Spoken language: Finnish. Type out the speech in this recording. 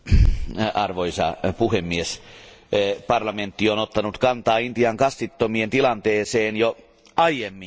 Arvoisa puhemies, parlamentti on ottanut kantaa Intian kastittomien tilanteeseen jo aiemminkin.